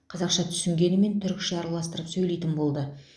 қазақша түсінгенімен түрікше араластырып сөйлейтін болды